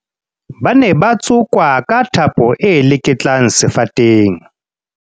ba ne ba tsokwa ka thapo e leketlang sefateng